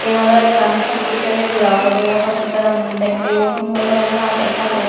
eyan oley ekkan hospital area obodey hospitalan gingorey para lager hajor oye.